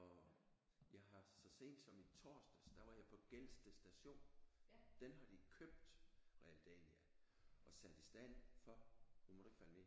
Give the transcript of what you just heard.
Og jeg har så sent som i torsdags der var jeg på Gelsted Station den har de købt Realdania og sat i stand for nu må du ikke falde ned